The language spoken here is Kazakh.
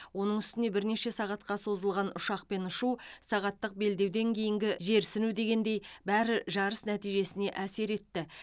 оның үстіне бірнеше сағатқа созылған ұшақпен ұшу сағаттық белдеуден кейінгі жерсіну дегендей бәрі жарыс нәтижесіне әсер етті